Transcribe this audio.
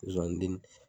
Zonzani den